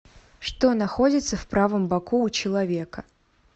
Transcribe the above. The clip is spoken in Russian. что находится в правом боку у человека